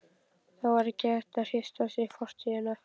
Það var ekki hægt að hrista af sér fortíðina.